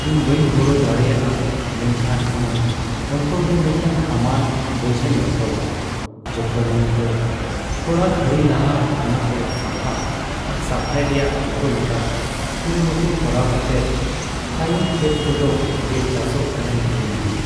ᱤᱧ ᱵᱟᱹᱧ ᱜᱚᱲᱚ ᱫᱟᱲᱮᱭᱟᱜᱼᱟ ᱢᱮᱱᱠᱷᱟᱱ ᱤᱧᱟᱹᱜ ᱚᱱᱛᱚᱨ ᱨᱮ ᱢᱤᱫᱴᱟᱝ ᱦᱟᱢᱟᱞ ᱵᱚᱡᱷᱟᱧ ᱟᱹᱭᱠᱟᱹᱣᱟ ᱡᱚᱠᱷᱚᱱ ᱤᱧ ᱫᱚ ᱛᱷᱚᱲᱟ ᱜᱷᱟᱹᱲᱤ ᱞᱟᱦᱟ ᱚᱱᱟ ᱠᱚ ᱥᱟᱯᱷᱟ ᱟᱨ ᱥᱟᱯᱷᱟᱭ ᱨᱮᱭᱟᱜ ᱡᱚᱛᱚ ᱞᱮᱠᱟᱱ ᱠᱩᱨᱩᱢᱩᱴᱩ ᱠᱚᱨᱟᱣ ᱠᱟᱛᱮᱫ ᱛᱟᱭᱚᱢ ᱠᱷᱮᱛ ᱠᱚᱫᱚ ᱵᱮᱝ ᱪᱟᱥᱚᱜ ᱠᱟᱱᱟᱧ ᱧᱮᱞ ᱧᱟᱢᱟ ᱾